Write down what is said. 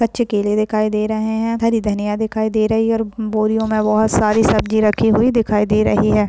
कच्चे केले दिखाई दें रहें हैं हरी धनिया दिखाई दे रहीं है और बोरियों में बहुत सारी सब्ज़ी रखी हुई दिखाई दे रही है।